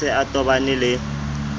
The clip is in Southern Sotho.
a se a tobane le